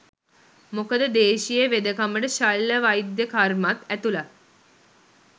මොකද දේශීය වෙදකමට ශල්‍ය වෛද්‍ය කර්මත් ඇතුළත්.